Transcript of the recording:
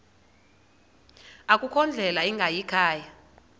akukho ndlela ingayikhaya